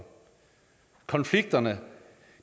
konflikterne